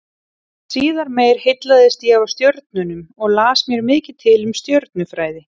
Síðar meir heillaðist ég af stjörnunum og las mér mikið til um stjörnufræði.